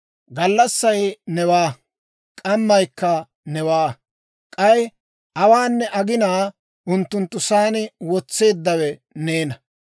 Gallassay newaa; k'ammaykka newaa; k'ay awaanne aginaa unttunttu sa'aan wotseeddawe neena.